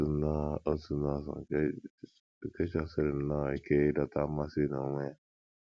Otu bụ banyere otu nọọsụ nke chọsiri nnọọ ike ịdọta mmasị n’onwe ya.